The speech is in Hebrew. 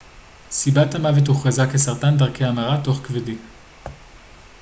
סיבת המוות הוכרזה כסרטן דרכי המרה תוך-כבדי